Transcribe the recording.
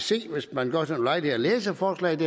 se hvis man gør sig den ulejlighed at læse forslaget